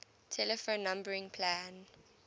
telephone numbering plan